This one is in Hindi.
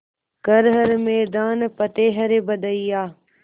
कर हर मैदान फ़तेह रे बंदेया